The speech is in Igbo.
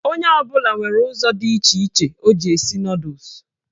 Onye ọbụla nwere ụzọ dị iche iche o ji esi nọdụs